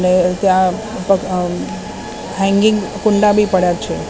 અને ત્યાં અમ હેંગિંગ કુંડા બી પડ્યા છે.